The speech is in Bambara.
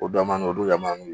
O da man d'o don ɲamanw ye